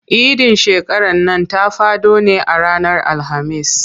Idin shekaran nan ta faɗo ne a ranar Alhamis.